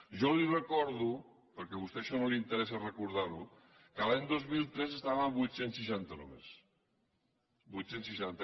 jo li recordo perquè a vostè això no li interessa recordar ho que l’any dos mil tres estàvem a vuit cents i seixanta només vuit cents i seixanta